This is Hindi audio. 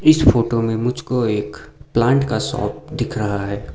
इस फोटो में मुझको एक प्लांट का शॉप दिख रहा है।